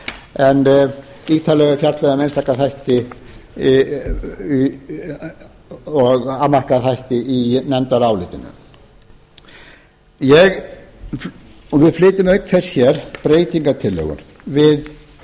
en ítarlega er fjallað um einstaka þætti og afmarkaða þætti í nefndarálitinu við flytjum auk þess hér breytingartillögur við